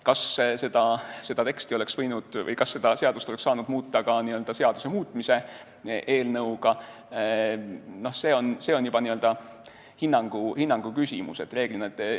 Kas seda regulatsiooni oleks saanud muuta ka seaduse muutmise eelnõuga, see on juba hinnangu küsimus.